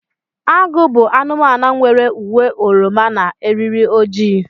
Agụ bụ anụmanụ nwere uwe oroma na eriri ojii.